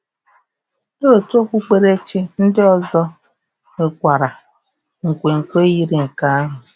Ndị otu okpukperechi ndị ọzọ nwekwara um nkwenkwe yiri nke ahụ.